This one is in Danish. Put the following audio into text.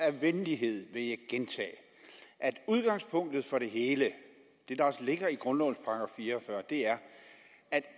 af venlighed vil jeg gentage at udgangspunktet for det hele det der også ligger i grundlovens § fire og fyrre er at